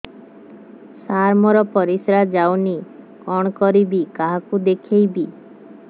ସାର ମୋର ପରିସ୍ରା ଯାଉନି କଣ କରିବି କାହାକୁ ଦେଖେଇବି